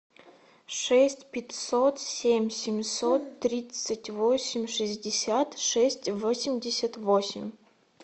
шесть пятьсот семь семьсот тридцать восемь шестьдесят шесть восемьдесят восемь